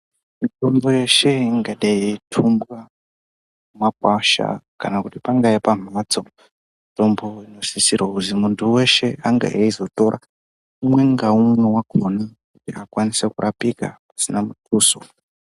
Mutombo iyo yeshe ingadai ichitorwa mumakwasha kana kuti pangava pamhatso kusisira kuti muntu weshe anga eizotora umwe ngaumwe kuti akwanise kurapika zvisina muduso.